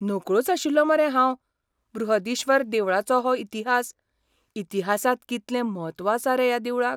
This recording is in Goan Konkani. नकळोच आशिल्लों मरे हांव बृहदीश्वर देवळाचो हो इतिहास, इतिहासांत कितलें म्हत्व आसा रे ह्या देवळाक!